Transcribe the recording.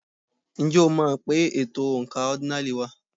Ǹjẹ́ o mọ̀ pé ètò oǹkà ọ́dínààlí wà?